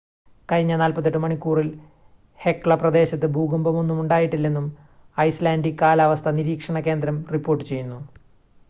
കഴിഞ്ഞ 48 മണിക്കൂറിൽ ഹെക്ല പ്രദേശത്ത് ഭൂകമ്പമൊന്നും ഉണ്ടായിട്ടില്ലെന്നും ഐസ്‌ലാൻഡിക് കാലാവസ്ഥാ നിരീക്ഷണ കേന്ദ്രം റിപ്പോർട്ട് ചെയ്യുന്നു